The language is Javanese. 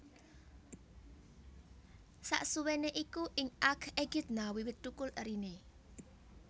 Sasuwéné iku ing aak Ekidna wiwit thukul eriné